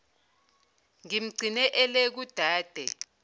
ngimgcine ele kudade